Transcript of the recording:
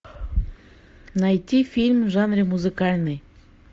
найти фильм в жанре музыкальный